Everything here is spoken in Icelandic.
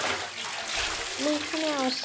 Líkami og sál